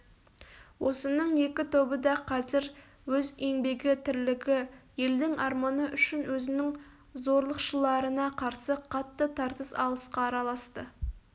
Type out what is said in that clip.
осының екі тобы да қазір өз еңбегі тірлігі елдің арманы үшін өзінің зорлықшыларына қарсы қатты тартыс алысқа араласты